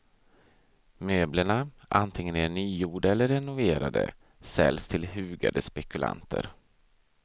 Möblerna, antingen de är nygjorda eller renoverade, säljs till hugade spekulanter.